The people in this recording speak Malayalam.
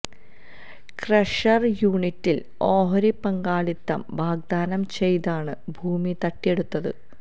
ക്രഷര് യൂണിറ്റില് ഓഹരി പങ്കാളിത്തം വാഗ്ദാനം ചെയ്താണ് ഭൂമി തട്ടിയെടുത്തത്